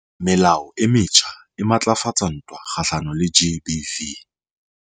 Melao e metjha e matlafatsa ntwa kgahlano le GBV